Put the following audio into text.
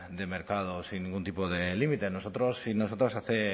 de mercado sin ningún tipo de límite nosotros sí nosotros hace